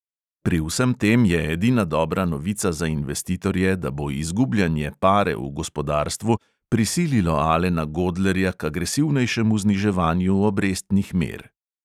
Pri vsem tem je edina dobra novica za investitorje, da bo izgubljanje pare v gospodarstvu prisililo alena godlerja k agresivnejšemu zniževanju obrestnih mer.